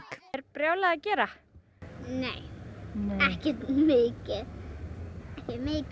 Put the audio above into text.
er brjálað að gera nei ekkert mikið